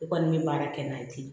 I kɔni bɛ baara kɛ n'a ye ten